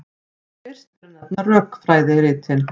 Fyrst ber að nefna rökfræðiritin.